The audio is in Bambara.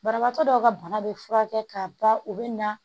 Banabagatɔ dɔw ka bana bɛ furakɛ ka ban u bɛ na